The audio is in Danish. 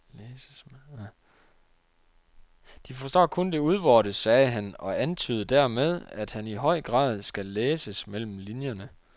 De forstår kun det udvortes, sagde han og antydede dermed, at han i høj grad skal læses mellem linjerne.